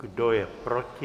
Kdo je proti?